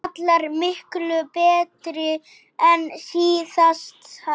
Allar miklu betri en síðast!